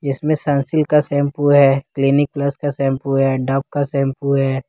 इसमें सनसिल्क का शैंपू है क्लिनिक प्लस का शैंपू है डव का शैंपू है।